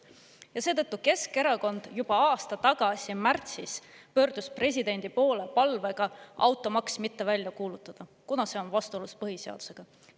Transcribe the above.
Ja Keskerakond juba aasta tagasi märtsis pöördus presidendi poole palvega automaksu mitte välja kuulutada, kuna see on vastuolus põhiseadusega.